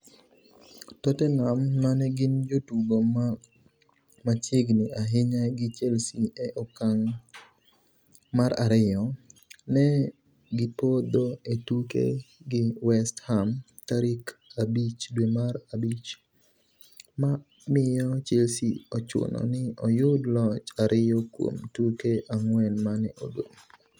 Tottenham, mane gin jotugo ma machiegni ahinya gi Chelsea e okang' mar ariyo, ne gipodho e tuke gi West Ham tarik 5 dwe mar abich, ma omiyo Chelsea ochuno ni oyud loch ariyo kuom tuke ang'wen mane odong'.